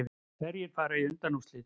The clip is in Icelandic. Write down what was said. Hverjir fara í undanúrslit